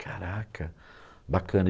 Caraca, bacana.